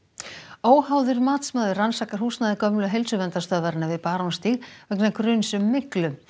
óháður matsmaður rannsakar húsnæði gömlu Heilsuverndarstöðvarinnar við Barónsstíg vegna gruns um myglu